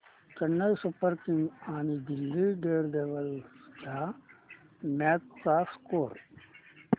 Chennai Super Kings आणि Delhi Daredevils च्या match चा स्कोअर